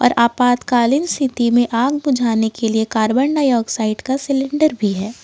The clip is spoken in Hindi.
और आपातकालीन स्थिति में आग बुझाने के लिए कार्बन डाइऑक्साइड का सिलेंडर भी है।